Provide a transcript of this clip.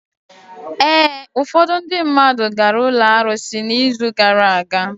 Ee, ufọdụ ndị mmadụ gara ụlọ arụsị n'izu gara aga.